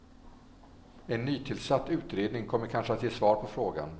En nytillsatt utredning kommer kanske att ge svar på frågan.